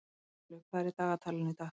Freylaug, hvað er í dagatalinu í dag?